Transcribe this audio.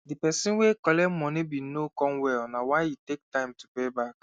the person were collect moni bin no come well na why e take time to payback